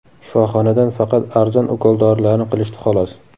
Shifoxonadan faqat arzon ukol-dorilarni qilishdi, xolos.